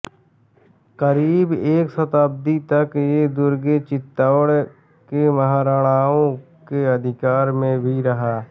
करीब एक शताब्दी तक ये दुर्ग चितौड़ के महराणाओ के अधिकार में भी रहा